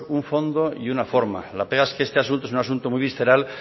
un fondo y una forma la pega es que este asunto es un asunto muy visceral